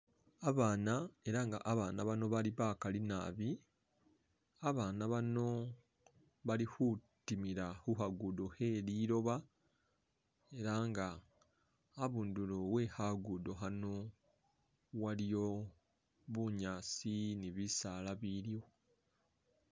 Babaana ela nga babaana bano bali bakali naabi, babaana bano bali khutimila khukhagudo khelilooba ela nga a'bundulo wekhagudo khano waliyo bunyaasi ni bisaala biliwo